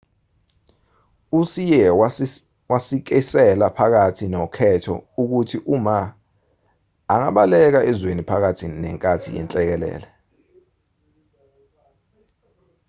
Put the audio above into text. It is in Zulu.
uhsieh wasikisela phakathi nokhetho ukuthi uma angabaleka ezweni phakathi nenkathi yenhlekelele